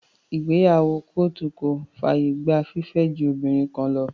Ìgbéyàwó kóòtù kò fàyè gba fífẹ́ ju obìnrin kan lọ.